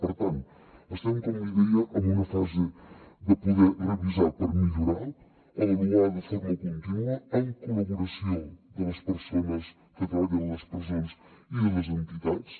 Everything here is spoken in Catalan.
per tant estem com li deia en una fase de poder revisar per millorar avaluar de forma contínua amb la col·laboració de les persones que treballen a les presons i de les entitats